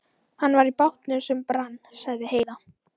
Hann var í bátnum sem brann, sagði Heiða.